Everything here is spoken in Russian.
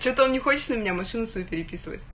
что то он не хочет на меня машину свою переписывать